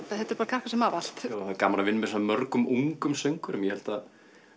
þetta eru krakkar sem hafa allt það er gaman að vinna með svona mörgum ungum söngvurum ég held að